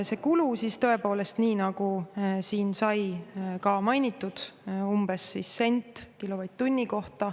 See kulu tõepoolest, nii nagu siin sai ka mainitud, umbes sent kilovatt-tunni kohta.